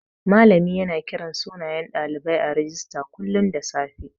Malami yana kiran sunayen ɗalibai a rijista kullun da safe.